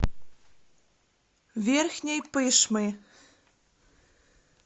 верхней пышмы